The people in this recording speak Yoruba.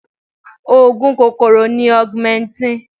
Oògùn kòkòrò ni augmentin.